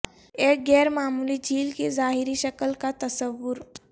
ایک غیر معمولی جھیل کی ظاہری شکل کا تصور